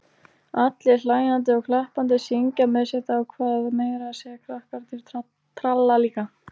Allir hlæjandi og klappandi, syngja með sitt á hvað, meira að segja krakkarnir tralla líka.